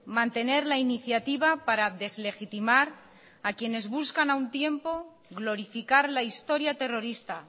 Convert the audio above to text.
mantener la iniciativa para deslegitimar a quienes buscan a un tiempo glorificar la historia terrorista